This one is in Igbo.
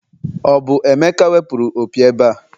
o bu emeka wepuru opi ebe a?